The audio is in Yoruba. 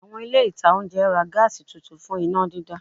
Àwọn ilé ìta oúnjẹ ra Gas tuntun fún iná dídá